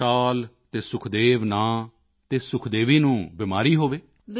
40 ਸਾਲ ਅਤੇ ਸੁਖਦੇਵ ਨਾਂ ਅਤੇ ਸੁਖਦੇਵੀ ਨੂੰ ਬਿਮਾਰੀ ਹੋਵੇ